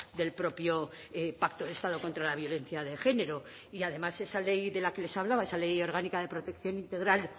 del propio pacto de estado contra la violencia de género y además esa ley de la que les hablaba esa ley orgánica de protección integral